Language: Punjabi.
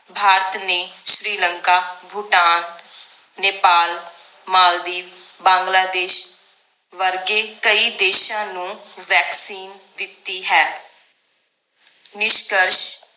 ਭਾਰਤ ਨੇ ਸ਼੍ਰੀ ਲੰਕਾ ਭੂਟਾਨ ਨੇਪਾਲ ਮਾਲਦੀਵ ਬਾਂਗਲਾਦੇਸ਼ ਵਰਗੇ ਕਈ ਦੇਸ਼ਾਂ ਨੂੰ vaccine ਦਿੱਤੀ ਹੈ ਨਿਸ਼ਕਸ਼